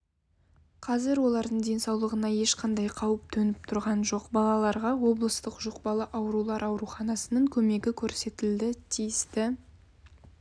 қазір олардың денсаулығына ешқандай қауіп төніп тұрған жоқ балаларға облыстық жұқпалы аурулар ауруханасының көмегі көрсетілді тиісті